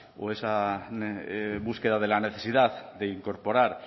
o esa búsqueda de la necesidad de incorporar